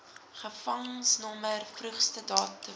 gevangenisnommer vroegste datum